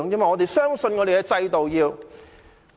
我們要相信我們的制度。